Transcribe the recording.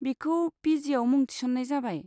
बिखौ पि जिआव मुं थिसन्नाय जाबाय।